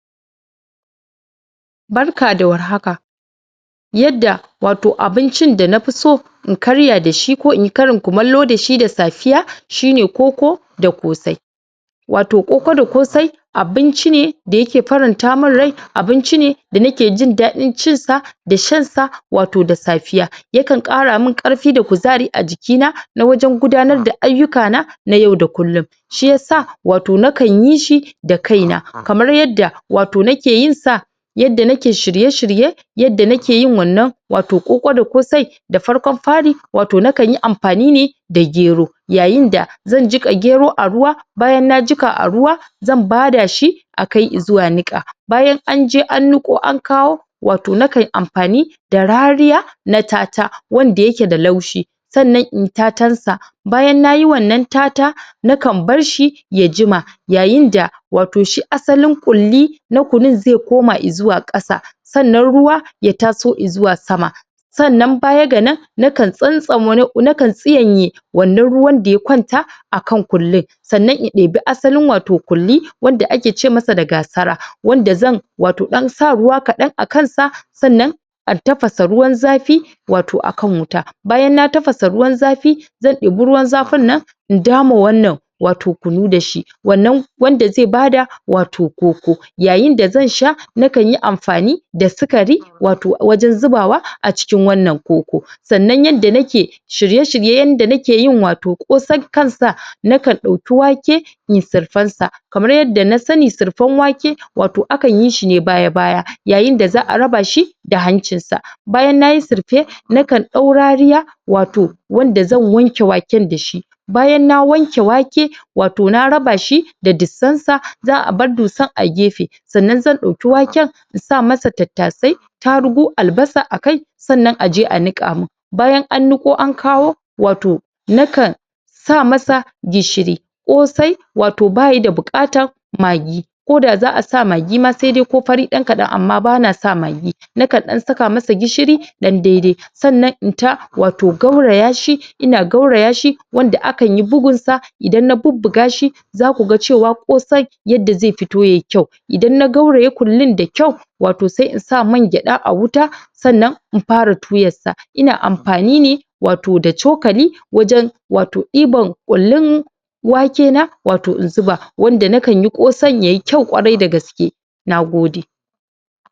Barka da warhaka. Yadda wato abincin da nafiso in Karya dashi Ko inyi Karin kumallo dashi da safiya shine koko da ƙosai. Wato koko da ƙosai abinci ne da yake faranta min rai, abinci ne da nike Jin daɗin cin sa da shansa wato da safiya, ya kan ƙara min ƙarfi da kuzari a jikina na wajen gudanar da ayyuka na, na yau da kullum. Shiyasa nakanyi shi da kaina,, kamar yadda wato nake yin sa, yadda nake shirye-shirye, yadda nake yin wannan wato koko da ƙosai. Da farkon fari, wato nakanyi amfani ne da gero, yayinda zan jiƙa gero ne a ruwa, bayan na jiƙa a ruwa, zan bada shi a kai izuwa niƙa, bayan anje an niƙo an kawo, wato nakan amfani da rariya na ta-ta, wanda yake da laushi, sannan inyi ta-tan sa, bayan nayi wannan ta-ta, na kan barshi ya jima yayinda wato shi asalin ƙulli na kunun zai koma izuwa ƙasa. Sannan ruwa ya taso izuwa sama Sannan baya ga nan nakan tsanta wani, nakan tsiyanye wannan ruwan da ya kwanta a kan ƙullin, sannan in ɗebi asalin wato ƙulli wanda akece masa da gasara, wanda zan wato ɗan sa ruwa kaɗan a kansa, sannan a tafasa ruwan zafi wato a kan wuta, bayan na tafasa ruwan zafi, zan ɗebi ruwan zafin nan in dame wannan wato kunu dashi, wannan wanda zai bada wato koko. Yayinda da zan sha nakanyi amfani da sukari wato wajen zubawa a cikin wannan koko. Sannan yanda nake shirye-shiryen Yanda nakeyin wato ƙosan kansa, nakan ɗauki wake inyi surfensa, Kamar yadda na sani, surfen wake wato akanyi shine baya-baya, yayinda za'a rabashi da hancinsa, bayan nayi surfe, nakan ɗau rariya, wato wanda zan wanke waken dashi, bayan na wanke wake, wato na rabashi da dusansa, za'a bar dusan a gefe, sannan zan ɗauki waken in saka masa tattasai, tarugu, albasa akai, sannan aje a niƙa min. Bayan an niƙo an kawo, wato nakan sa masa gishiri, ƙosai wato bayi da buƙatar magi, koda za'a sa magi ma saidai ko fari ɗan kaɗan, amma bana sa magi, nakan ɗan saka masa gishiri ɗan dai-dai, sannan in ta wato gaurayashi, ina gaurayashi, wanda akanyi bugunsa, idan na bubbugashi, zakuga cewa ƙosai yadda zai fito yayi kyau, idan na gauraye ƙullin da kyau, wato sai in sa mangyaɗa a wuta, sannan in fara tuyansa, ina amfani ne wato da cokali wajen wato ɗibar ƙullin wake na wato in zuba, wanda nakanyi ƙosan yayi kyau kwarai da gaske. Nagode.